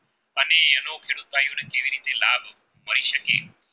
શકે